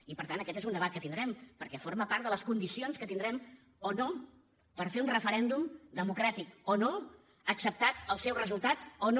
i per tant aquest és un debat que tindrem perquè forma part de les condicions que tindrem o no per fer un referèndum democràtic o no acceptat el seu resultat o no